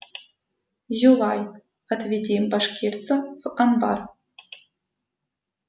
юлай отведи башкирца в амбар